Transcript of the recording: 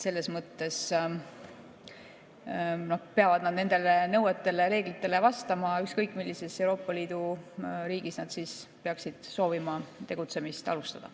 Nad peavad nendele nõuetele ja reeglitele vastama, ükskõik millises Euroopa Liidu riigis nad peaksid soovima tegutsemist alustada.